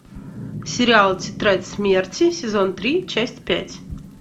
сериал тетрадь смерти сезон три часть пять